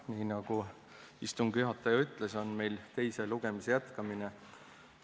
Nii nagu istungi juhataja ütles, on meil teise lugemise jätkamine.